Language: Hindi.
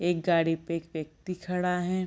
एक गाड़ी पे एक व्यक्ति खड़ा हैं।